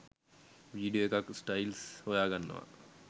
Video එකක් styles හොයාගන්නවා.